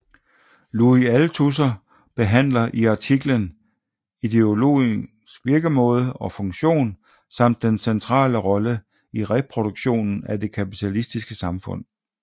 Louis Althusser behandler i artiklen ideologiens virkemåde og funktion samt dens centrale rolle i reproduktionen af det kapitalistiske samfund